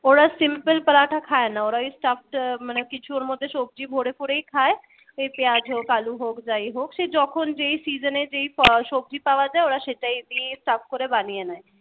ওরা simple পারাঠা খায় না ওরা ওই stuff মানে কিছু ওর মধ্যে সবজি ভোরে করেই খায় পেঁয়াজ হোক আলো হোক যাই সে হোক যখন যেই season এ যেই সবজি পাওয়া যায় ওরা সেটাই দিয়ে stuff করে বানিয়ে নেয় ।